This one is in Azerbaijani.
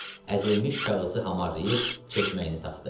Əzilmiş kağızı hamarlayıb çeşməyini taxdı.